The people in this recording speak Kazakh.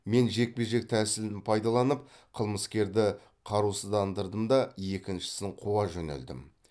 мен жекпе жек тәсілін пайдаланып қылмысерді қарусыздандырдым да екіншісін қуа жөнелдім